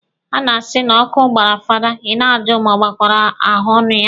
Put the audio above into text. Ha na-asi na ọkụ gbara fada, Ị na-ajụ ma ọ gbakwara ahaọnụ ya.